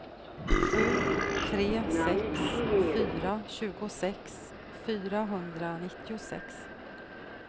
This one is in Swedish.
sju tre sex fyra tjugosex fyrahundranittiosex